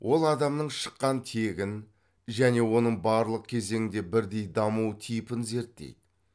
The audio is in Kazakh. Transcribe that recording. ол адамның шыққан тегін және оның барлық кезеңде бірдей даму типін зерттейді